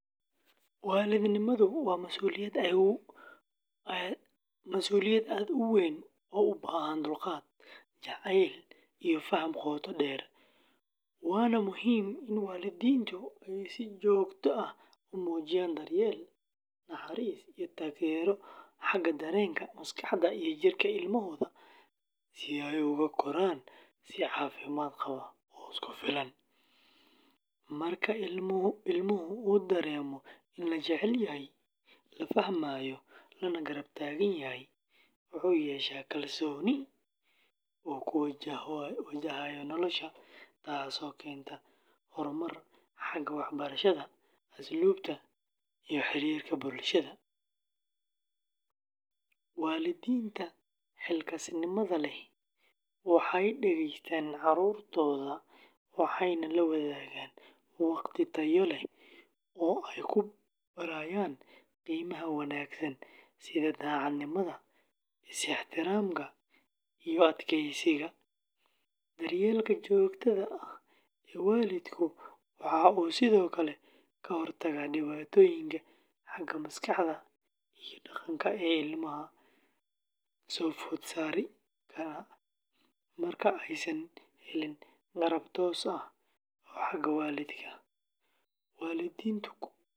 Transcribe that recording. Waalidnimadu waa masuuliyad aad u weyn oo u baahan dulqaad, jacayl, iyo faham qoto dheer, waana muhiim in waalidiintu ay si joogto ah u muujiyaan daryeel, naxariis, iyo taageero xagga dareenka, maskaxda, iyo jirka ilmahooda si ay ugu koraan si caafimaad qaba oo isku filan. Marka ilmuhu dareemo in la jecel yahay, la fahmayo, lana garab taagan yahay, wuxuu yeeshaa kalsooni uu ku wajahayo nolosha, taasoo keenta horumar xagga waxbarashada, asluubta, iyo xiriirka bulshada. Waalidiinta xilkasnimada leh waxay dhegeystaan caruurtooda, waxayna la wadaagaan waqti tayo leh oo ay ku barayaan qiimaha wanaagsan sida daacadnimada, is-ixtiraamka, iyo adkeysiga. Daryeelka joogtada ah ee waalidka waxa uu sidoo kale ka hortagaa dhibaatooyinka xagga maskaxda iyo dhaqanka ee ilmaha soo food saari kara marka aysan helin garab toos ah oo xagga waalidka ah.